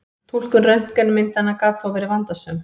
Túlkun röntgenmyndanna gat þó verið vandasöm.